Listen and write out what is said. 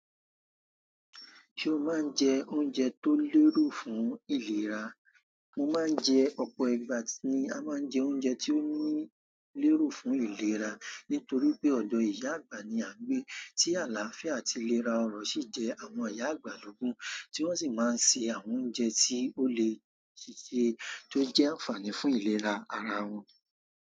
Ṣé o máa ń jẹ oúnjẹ tó lérò fún ìlera? Mo máa ń jẹ ọ̀pọ̀ ìgbà ni a máa ń jẹ oúnjẹ tí ó ní lérò fún ìlera, nítorí pé ọ̀dọ̀ ìyá àgbà ni à ń gbé, tí àlàáfíà àti ìlera ọrọ̀ sì jẹ́ àwọn ìyá àgbà lógbọ̀n, tí wọ́n sì máa ń se àwọn oúnjẹ tí ó le ṣe tó jẹ́ ànfààní fún ìlera ara wọn.